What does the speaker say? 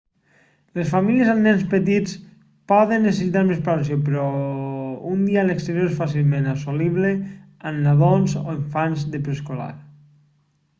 les famílies amb nens petits poden necessitar més preparació però un dia a l'exterior és fàcilment assolible amb nadons o infants de preescolar